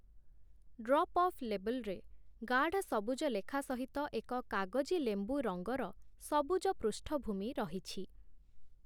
Drop-off ଲେବଲରେ ଗାଢ଼ ସବୁଜ ଲେଖା ସହିତ ଏକ କାଗଜିଲେମ୍ବୁ-ରଙ୍ଗର ସବୁଜ ପୃଷ୍ଠଭୂମି ରହିଛି ।